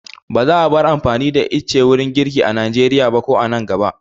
Ba za a bar amfani da ice wurin girki a Nigeria ba ko a nan gaba.